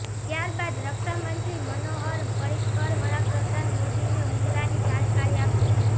ત્યારબાદ રક્ષામંત્રી મનોહર પર્રિકર વડાપ્રધાન મોદીને હુમલાની જાણકારી આપશે